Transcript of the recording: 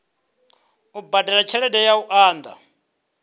badela tshelede ya u unḓa